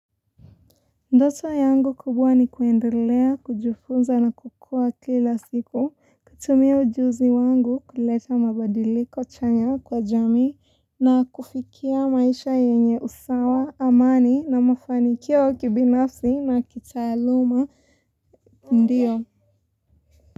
Ndoto yangu kubwa ni kuendelea, kujifunza na kukua kila siku, kutumia ujuzi wangu kuleta mabadiliko chanya kwa jamii na kufikia maisha yenye usawa, amani na mafanikio ya kibinafsi na kitaaluma ndiyo.